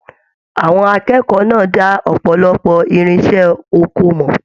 Àwọn akẹ́kọ̀ọ́ náà dà ọpọlọpọ irinṣẹ́ oko mọ.